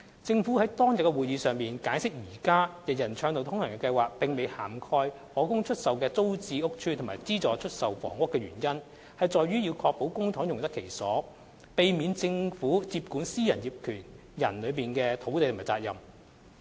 政府於當日的會議上解釋現時"人人暢道通行"計劃並未涵蓋可供出售的租置屋邨及資助出售房屋的原因在於要確保公帑用得其所，避免政府接管私人業權人的土地及責任。